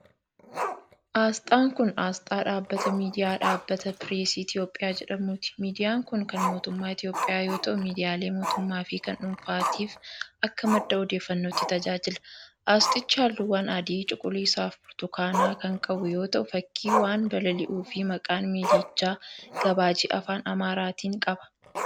Asxaan kun, asxaa dhaabbata miidiyaa Dhaabbata Pireesii Itoophiyaa jedhamuuti. Miidiyaan kun, kan mootummaa Itoophiyaa yoo ta'u, miidiyaalee mootummaa fi kan dhuunfaatif akka madda odeeffannootti tajaajila. Asxaichi, haalluuwwan adii, cuquliisa fi burtukaana kan qabu yoo ta'u, fakkii waan balali'uu fi maqaan miidiyichaa gabaajee Afaan Amaaraatin qaba